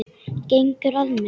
Gengur að mér.